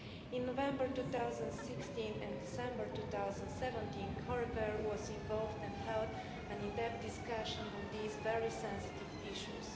In November 2016 and December 2017, Coreper was involved and held an in-depth discussion on these very sensitive issues.